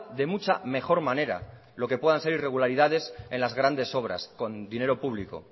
de mucha mejor manera lo que puedan ser irregularidades en las grandes obras con dinero público